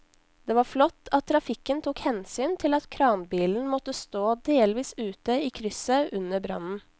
Det var flott at trafikken tok hensyn til at kranbilen måtte stå delvis ute i krysset under brannen.